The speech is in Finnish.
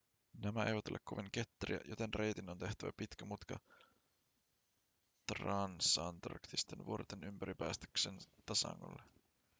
nämä eivät ole kovin ketteriä joten reitin on tehtävä pitkä mutka transantarktisten vuorten ympäri päästäkseen tasangolle